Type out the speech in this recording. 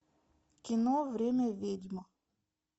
кино время ведьм